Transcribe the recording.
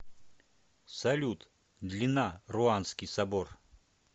салют длина руанский собор